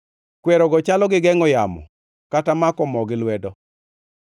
kwerogo chalo gi gengʼo yamo kata mako moo gi lwedo.